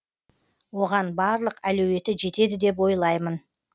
оған барлық әлеуеті жетеді деп ойлаймын